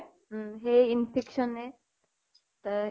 উম। সেই infection য়ে । তা